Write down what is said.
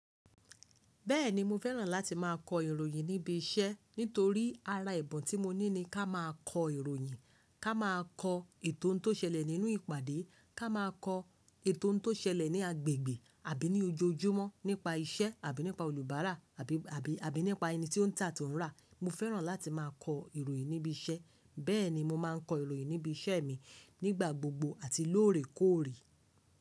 Bẹ́ẹ̀ni mo fẹ́ràn láti má a kọ ìròyìn níbi iṣẹ́ nítorí ara ebun tí mo ní ni ká má a kọ ìròyìn, ká má a kọ ètò oun tó ṣẹlẹ̀ nínú ìpàdé, ká má a kọ ètò oun tó ṣẹlẹ̀ ní agbègbè. Àbí ní ojoojúmọ́ nípa iṣẹ́ àbí nípa olùbárà àbí, àbí, àbí nípa ẹni ti ó ń ta to ń rà. Mo fẹ́ràn láti má a kọ ìròyìn níbi iṣẹ́, bẹ́ẹ̀ ni mo má a ń kọ ìròyìn níbi iṣẹ́ mi nígbà gbogbo àti lóòrèkóòrè.